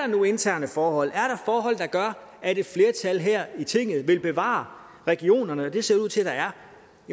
nu interne forhold er forhold der gør at et flertal her i tinget vil bevare regionerne og det ser det ud til der er